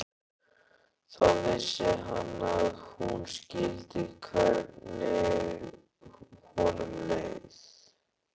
Þá vissi hann að hún skildi hvernig honum leið.